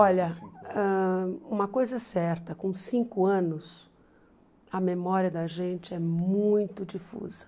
Olha, ãh uma coisa é certa, com cinco anos, a memória da gente é muito difusa.